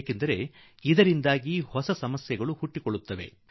ಏಕೆಂದರೆ ಇದರಿಂದ ಹೊಸ ಕಷ್ಟಗಳು ಹುಟ್ಟಿಕೊಂಡು ಬಿಡುತ್ತದೆ